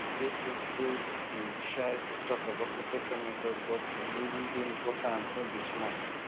people still dey shy to talk about protection methods but e really um dey important no be small